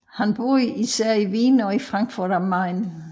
Han boede især i Wien og i Frankfurt am Main